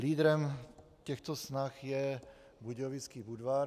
Lídrem těchto snah je Budějovický Budvar.